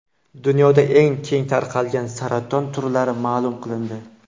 Dunyoda eng keng tarqalgan saraton turlari ma’lum qilindi.